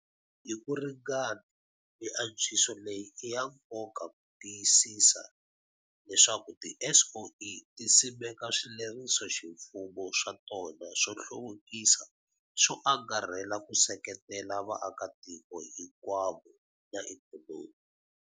Hi ku ringana, miantswiso leyi i ya nkoka ku tiyi sisa leswaku tiSOE ti simeka swilerisoximfumo swa tona swo hluvukisa swo angarhela ku seketela vaakatiko hi nkwavo na ikhonomi.